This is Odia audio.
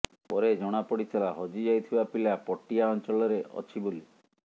ପରେ ଜଣା ପଡିଥିଲା ହଜିଯାଇଥିବା ପିଲା ପଟିଆ ଅଂଚଲେରେ ଅଛି ବୋଲି